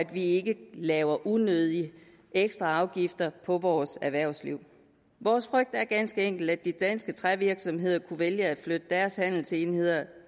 vi ikke laver unødige ekstraafgifter for vores erhvervsliv vores frygt er ganske enkelt at de danske trævirksomheder kunne vælge at flytte deres handelsenheder